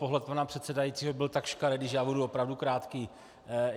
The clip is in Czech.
Pohled pana předsedajícího byl tak škaredý, že já budu opravdu krátký.